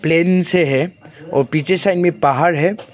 N से है और पीछे साइड मे पहाड़ है।